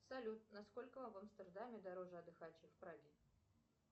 салют насколько в амстердаме дороже отдыхать чем в праге